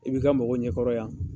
I b'i ka mɔgɔw ɲɛkɔrɔ yan